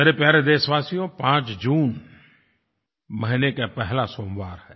मेरे प्यारे देशवासियों 5 जून महीने का पहला सोमवार है